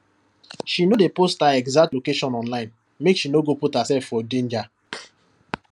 she no dey post her exact location online make she no go put herself herself for danger